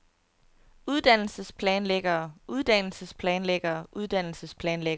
uddannelsesplanlæggere uddannelsesplanlæggere uddannelsesplanlæggere